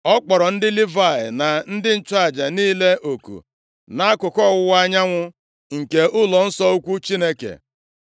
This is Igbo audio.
Ọ kpọrọ ndị Livayị, na ndị nchụaja niile oku nʼakụkụ ọwụwa anyanwụ nke ụlọnsọ ukwu Chineke,